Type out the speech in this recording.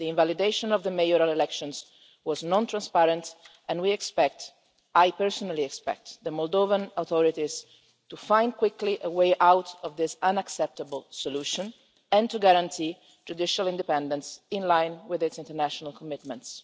The invalidation of the mayoral elections was non transparent, and we expect I personally expect the Moldovan authorities quickly to find a way out of this unacceptable solution and to guarantee judicial independence, in line with Moldova's international commitments.